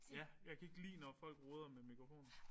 Ja. Jeg kan ikke lide når folk roder med en mikrofon